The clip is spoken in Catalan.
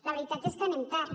la veritat és que anem tard